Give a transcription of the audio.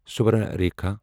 Subarnarekha